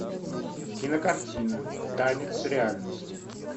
кинокартина танец реальности